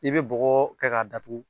I bɛ bɔgɔ kɛ k'a datugu